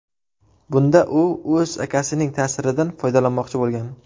Bunda u o‘z akasining ta’siridan foydalanmoqchi bo‘lgan.